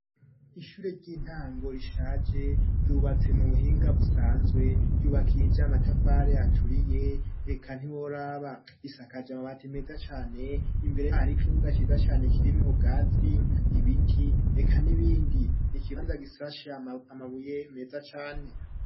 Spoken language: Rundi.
Ishure ry'intango rishage ryubatse mu buhinga busanzwe ryubakija amatafare aturiye reka ntiwo raba isakaje amabati meza cyane imbere yhari ikibuga ciza cyane kirimwe bwatsi ibiti reka n'ibindi ni kibanza gisashi amabuye meza cane.